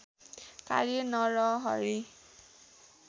कार्य नरहरि